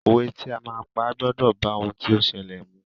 Òwe tí o máa pa gbọ́dọ̀ bá ohun tí ó ṣẹlẹ̀ mu.